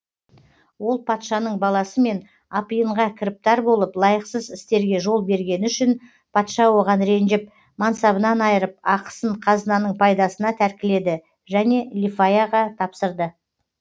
ол патшаның баласымен апиынға кіріптар болып лайықсыз істерге жол бергені үшін патша оған ренжіп мансабынан айырып ақысын қазынаның пайдасына тәркіледі және лифаяға тапсырды